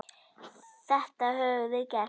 Þetta höfum við gert.